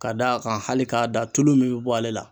Ka d'a kan hali k'a da tulu min bi bɔ ale la